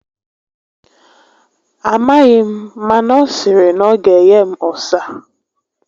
A maghị m, mana ọ sịrị na ọ ga enye m ụsa